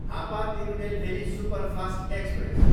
Hapa Tirunelveli superfast express